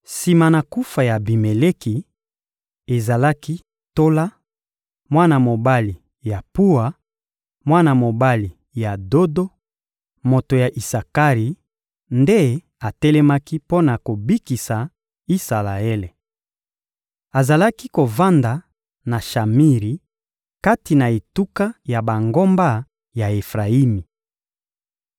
Sima na kufa ya Abimeleki, ezalaki Tola, mwana mobali ya Puwa, mwana mobali ya Dodo, moto ya Isakari, nde atelemaki mpo na kobikisa Isalaele. Azalaki kovanda na Shamiri, kati na etuka ya bangomba ya Efrayimi.